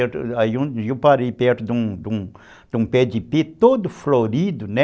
Eu parei perto de um pé de ipé todo florido, né?